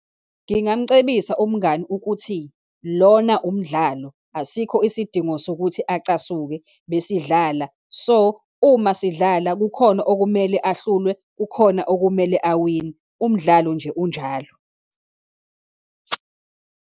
Ngingamcebisa umngani ukuthi lona umdlalo, asikho isidingo sokuthi acasuke, besidlala. So, uma sidlala, kukhona okumele ahluzwe, kukhona okumele awine, umdlalo nje unjalo.